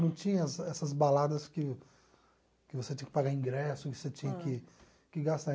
Não tinha essa essas baladas que que você tinha que pagar ingresso, que você tinha que que gastar.